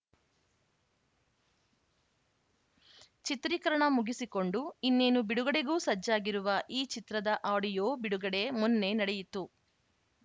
ಚಿತ್ರೀಕರಣ ಮುಗಿಸಿಕೊಂಡು ಇನ್ನೇನು ಬಿಡುಗಡೆಗೂ ಸಜ್ಜಾಗಿರುವ ಈ ಚಿತ್ರದ ಆಡಿಯೋ ಬಿಡುಗಡೆ ಮೊನ್ನೆ ನಡೆಯಿತು